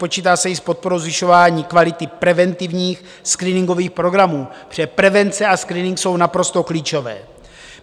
Počítá se i s podporou zvyšování kvality preventivních screeningových programů, protože prevence a screening jsou naprosto klíčové.